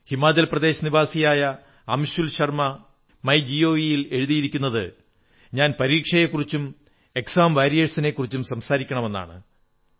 ഹിമാചൽ പ്രദേശ് നിവാസിയായ Anshul Sharma my G O V ൽ എഴുതിയിരിക്കുന്നത് ഞാൻ പരീക്ഷയെക്കുറിച്ചും എക്സാം വാരിയേഴ്സിനെക്കുറിച്ചും സംസാരിക്കണമെന്നാണ്